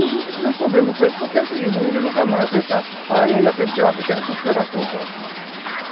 Não, nunca tivemos problema com eles, porque é o seguinte, o índio nunca amansa, pequena consideração só.